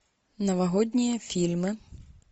новогодние фильмы